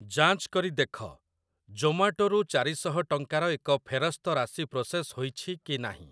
ଯାଞ୍ଚ କରି ଦେଖ, ଜୋମାଟୋ ରୁ ଚାରି ଶହ ଟଙ୍କାର ଏକ ଫେରସ୍ତ ରାଶି ପ୍ରୋସେସ ହୋଇଛି କି ନାହିଁ।